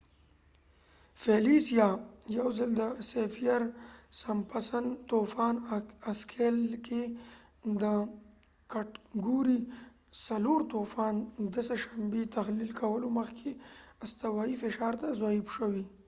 فیلیسیه، یوځل د سیفیر-سمپسن طوفان اسکیل کې د کټګورۍ ۴ طوفان، د سه شنبې تحلیل کولو مخکې استوایی فشار ته ضعیف شوي